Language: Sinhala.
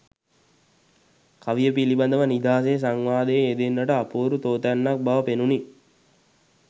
කවිය පිළිබඳව නිදහසේ සංවාදයේ යෙදෙන්නට අපූරු තෝතැන්නක් බව පෙනුණි.